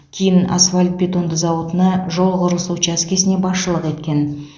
кейін асфальт бетонды зауытына жол құрылысы учаскесіне басшылық еткен